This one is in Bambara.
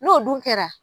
N'o dun kɛra